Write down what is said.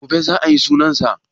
Gobe za a yi sunan sa?